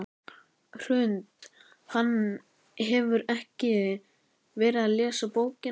Hrund: Hann hefur ekkert verið að lesa bókina?